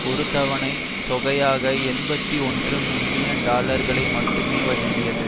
ஒரு தவணை தொகையாக எண்பத்தி ஒன்று மில்லியன் டாலர்களை மட்டுமே வழங்கியது